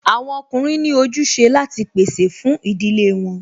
Àwọn ọkùnrin ní ojúse láti pèsè fún ìdílé wọn